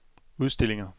udstillinger